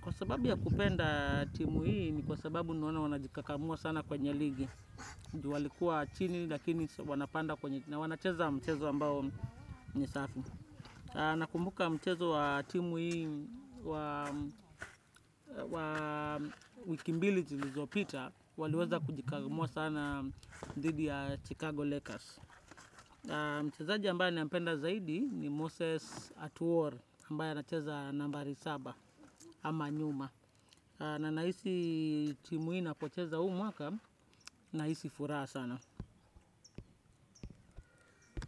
Kwa sababu ya kupenda timu hii ni kwa sababu naona wanajikakamua sana kwenye ligi. Juu walikuwa chini lakini wanapanda kwenye na wanacheza mchezo ambao ni safi. Nakumbuka mchezo wa timu hii wa wiki mbili zilizopita waliweza kujikagumua sana dhidi ya Chicago Lakers mchezaji ambaya nampenda zaidi ni Moses at War ambaye anacheza nambari saba ama nyuma na nahisi timu hii inapocheza uu mwaka na nahisi furaha sana.